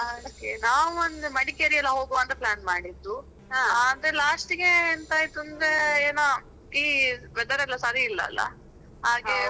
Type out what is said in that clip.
ಹ ಹಾಗೆ ನಾವ್ ಅಂದ್ರೇ Madikeri ಎಲ್ಲ ಹೋಗುವ ಅಂತ, plan ಮಾಡಿದ್ದು ಮತ್ತೆ, last ಗೆ ಎಂಥ ಅಯ್ತು ಅಂದ್ರೆ ಏನೋ ಈ weather ಎಲ್ಲ ಸರಿ ಇಲ್ಲ ಅಲ. .